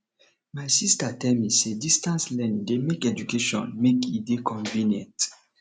my sista tell me sey distance learning dey make education make e dey convenient